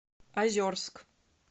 озерск